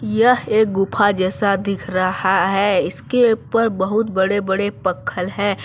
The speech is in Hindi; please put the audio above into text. यह एक गुफा जैसा दिख रहा है इसके ऊपर बहुत बड़े बड़े पख्खल हैं।